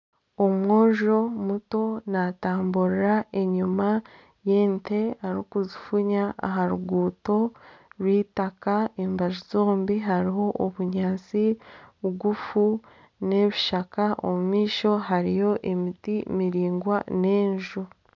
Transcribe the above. Omwojo muto natamburira enyuma y'ente arikuzifuunya aha ruguuto rw'eitaaka, embaju zombi hariho obunyaatsi bugufu n'ebishaka omumaisho hariyo emiti miraingwa n'enju.